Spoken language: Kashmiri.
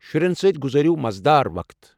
شرٮ۪ن سۭتۍ گُزٲرِو مزٕ دار وقت۔